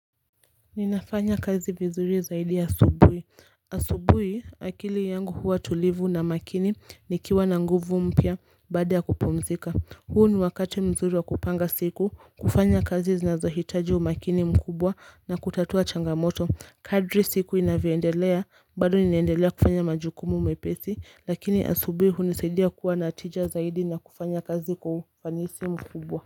Ninafanya kazi vizuri zaidi asubuhi. Asubuhi akili yangu huwa tulivu na makini nikiwa na nguvu mpya baada ya kupumzika. Huu ni wakati mzuri wa kupanga siku, kufanya kazi zinazohitaji umakini mkubwa na kutatua changamoto. Kadri siku inavyo endelea, bado ninaendelea kufanya majukumu mepesi, lakini asubuhi hunisaidia kuwa na tija zaidi na kufanya kazi kwa ufanisi mkubwa.